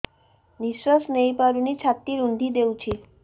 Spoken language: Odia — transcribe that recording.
ନିଶ୍ୱାସ ନେଇପାରୁନି ଛାତି ରୁନ୍ଧି ଦଉଛି